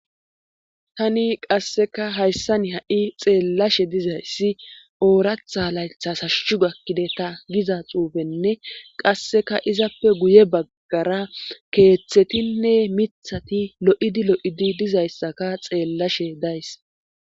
Tani qasseka hayssan ha'i xeellashe dizayssi ooratha laythas hashushu gakkide ta giza xuufenne qasseka izappe guye baggara keeththetinne mithati lo'idi lo'idi dizayssaka xeellashe days.